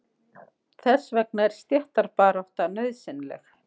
Þess vegna er stéttabarátta nauðsynleg.